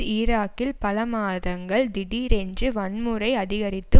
ஈராக்கில் பல மாதங்கள் திடீரென்று வன்முறை அதிகரித்து